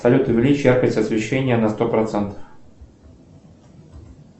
салют увеличь яркость освещения на сто процентов